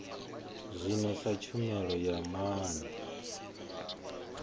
zwino sa tshumelo ya maana